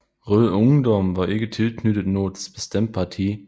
Rød Ungdom var ikke tilknyttet noget bestemt parti